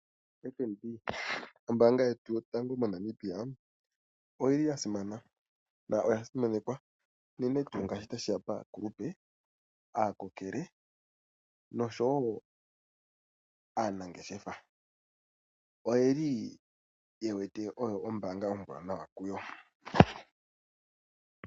FNB ombaanga yotango yopashigwana oya simana noya simanekwa unene tuu ngele tashi ya paakulupe, aakokele nosowo aanangeshefa. Oye wete oyo ombaanga ombwaanawa kuyo.